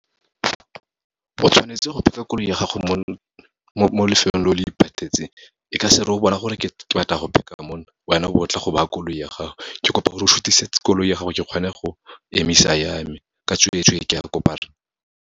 O tshwanetse go park-a koloi ya gago mo lefelong leo le iphethetseng, e ka se re o bona gore ke batla go park-a mo, wena o bo tla go ba koloi ya gago. Ke kopa gore o sutise koloi ya gago, ke kgone go emisa ya me, ka tsweetswe, ke a kopa rra.